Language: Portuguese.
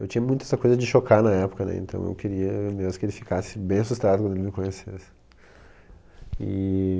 Eu tinha muito essa coisa de chocar na época, né então eu queria mesmo que ele ficasse bem assustado quando ele me conhecesse.